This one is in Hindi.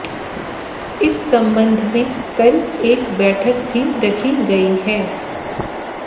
इस संबंध में कल एक बैठक भी रखी गई है